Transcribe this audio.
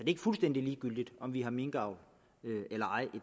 ikke fuldstændig ligegyldigt om vi har minkavl eller ej